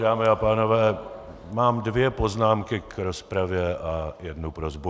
Dámy a pánové, mám dvě poznámky k rozpravě a jednu prosbu.